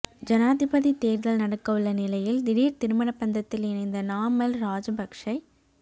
ஜனாதிபதி தேர்தல் நடக்கவுள்ள நிலையில் திடீர் திருமண பந்தத்தில் இணைந்த நாமல் ராஜபக்ஷ